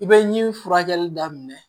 I bɛ ɲin furakɛli daminɛ